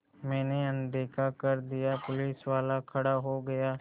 मैंने अनदेखा कर दिया पुलिसवाला खड़ा हो गया